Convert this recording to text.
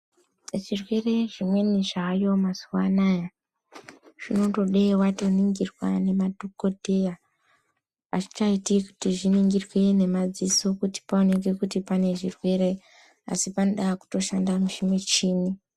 Zvirwere zvimweni zvaayo mazuwaano zvaakuda kutoningirwa ngemadhokodheya kwete kuningirwa ngemadziso uye vanotofanirwa kushandisa michini kuti vaziye muhlobo wechirwere.